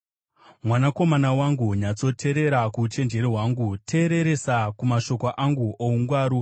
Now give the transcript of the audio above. Mwanakomana wangu, nyatsoteerera kuuchenjeri hwangu, teereresa kumashoko angu oungwaru,